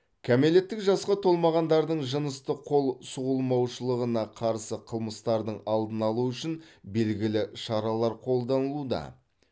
кәмелеттік жасқа толмағандардың жыныстық қол сұғылмаушылығына қарсы қылмыстардың алдын алу үшін белгілі шаралар қолданылуда